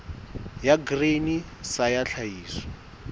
ya grain sa ya tlhahiso